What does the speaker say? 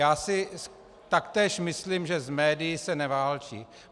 Já si taktéž myslím, že s médii se neválčí.